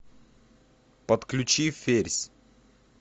подключи ферзь